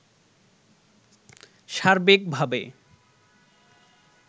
সার্বিকভাবে